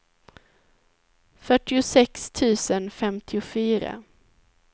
fyrtiosex tusen femtiofyra